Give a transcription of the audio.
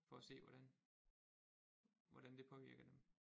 For at se hvordan hvordan det påvirker dem